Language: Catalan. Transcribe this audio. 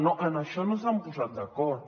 no en això no s’han posat d’acord